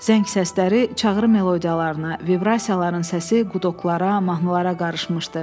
Zəng səsləri çağrı melodiyalarına, vibrasiyaların səsi qudoqlara, mahnılara qarışmışdı.